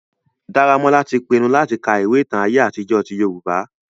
Daramola ti pinnu latì ka ìwe ìtan àye àtijọ ti Yorùbá.